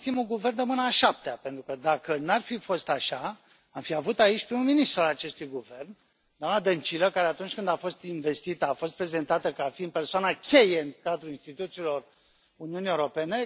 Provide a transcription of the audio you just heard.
Avem, în schimb, un guvern de mâna a șaptea, pentru că, dacă nu ar fi fost așa, l am fi avut aici pe prim ministrul acestui guvern, doamna Dăncilă, care, atunci când a fost învestită, a fost prezentată ca fiind persoana cheie în cadrul instituțiilor Uniunii Europene.